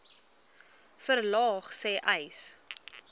verlaag sê uys